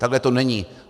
Takhle to není.